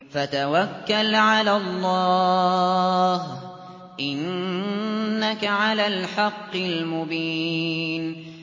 فَتَوَكَّلْ عَلَى اللَّهِ ۖ إِنَّكَ عَلَى الْحَقِّ الْمُبِينِ